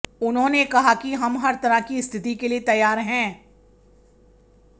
उन्होंने कहा कि हम हर तरह की स्थिति के लिए तैयार हैं